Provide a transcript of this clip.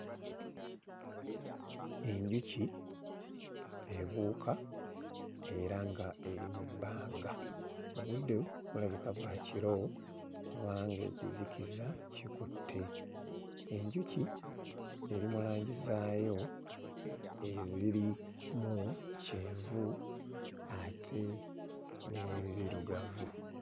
Enjuki ebuuka era nga eri mu bbanga obudde bulabika bwa kiro kubanga ekizikiza kikutte enjuki eri mu langi zaayo ezirimu kyenvu ate n'enzirugavu.